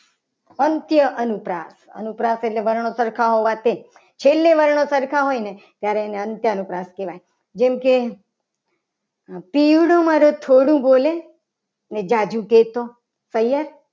અંત્ય અનુપ્રાસ અનુપ્રાસ વર્ણો સરખા હોવાથી છેલ્લે વર્ણો સરખા હોય. ને ત્યારે એને અંત્યા અનુપ્રાસ કહેવાય. જેમ ક મારું થોડું બોલે અને જાજુ કહે તો સૈયર